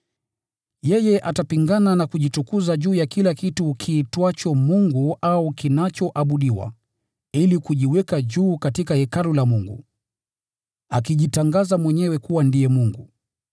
Yeye atapingana na kujitukuza juu ya kila kitu kiitwacho Mungu au kinachoabudiwa, ili kujiweka juu katika Hekalu la Mungu, akijitangaza mwenyewe kuwa ndiye Mungu.